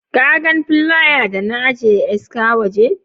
Ka gan flaya da na ajiye ska waje?